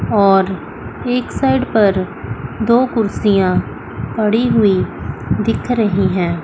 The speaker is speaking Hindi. और एक साइड पर दो कुर्सियां पड़ी हुई दिख रही हैं।